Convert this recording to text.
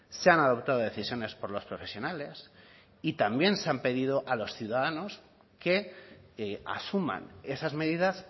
se han adoptado decisiones por los profesionales y también se ha pedido a los ciudadanos que asuman esas medidas